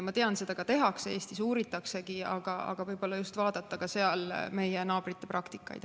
Ma tean, et seda ka tehakse, uuritaksegi, aga võib-olla võiks vaadata rohkem ka meie naabrite praktikat.